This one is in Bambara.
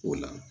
O la